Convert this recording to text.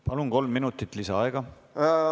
Palun, kolm minutit lisaaega!